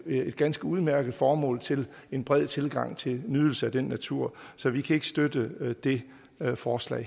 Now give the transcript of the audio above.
et ganske udmærket formål til en bred tilgang til nydelse af den natur så vi kan ikke støtte det her forslag